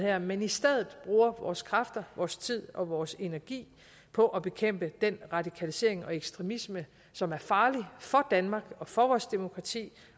her men i stedet bruger vores kræfter vores tid og vores energi på at bekæmpe den radikalisering og ekstremisme som er farlig for danmark og for vores demokrati